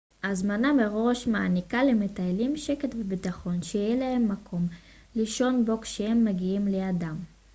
הזמנה מראש מעניקה למטיילים שקט ובטחון שיהיה להם מקום לישון בו כשהם מגיעים ליעדם